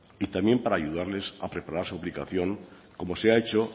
y también para ayudarles a preparar suplicación como se ha hecho